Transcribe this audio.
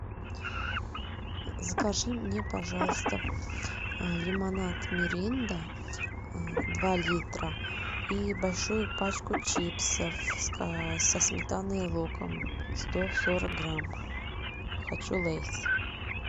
закажи мне пожалуйста лимонад миринда два литра и большую пачку чипсов со сметаной и луком сто сорок грамм хочу лейс